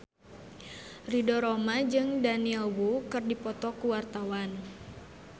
Ridho Roma jeung Daniel Wu keur dipoto ku wartawan